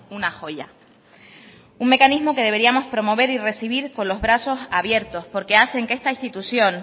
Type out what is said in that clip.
una joya un mecanismo que deberíamos promover y recibir con los brazos abiertos porque hacen que esta institución